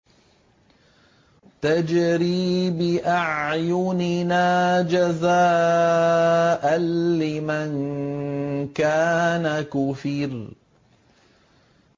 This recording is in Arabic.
تَجْرِي بِأَعْيُنِنَا جَزَاءً لِّمَن كَانَ كُفِرَ